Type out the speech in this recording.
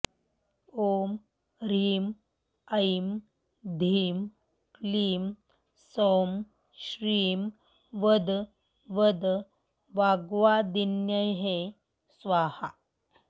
ॐ ह्रीं ऐं धीं क्लीं सौं श्रीं वद वद वाग्वादिन्यै स्वाहा